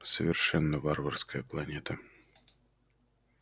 совершенно варварская планета